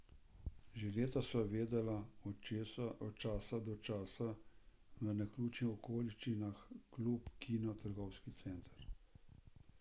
Že leta sta se videvala, od časa do časa, v naključnih okoliščinah, klub, kino, trgovski center.